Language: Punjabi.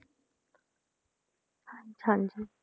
ਹਾਂਜੀ